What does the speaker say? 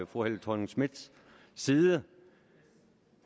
fru helle thorning schmidts side